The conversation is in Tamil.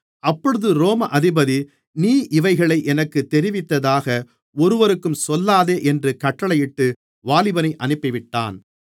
அப்பொழுது ரோம அதிபதி நீ இவைகளை எனக்குத் தெரிவித்ததாக ஒருவருக்கும் சொல்லாதே என்று கட்டளையிட்டு வாலிபனை அனுப்பிவிட்டான்